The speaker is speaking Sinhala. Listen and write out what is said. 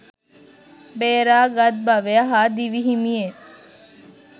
බේරා ගත් බවය හා දිවි හිමියෙන්